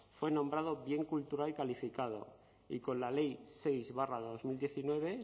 fue nombrado bien cultural calificado y con la ley seis barra dos mil diecinueve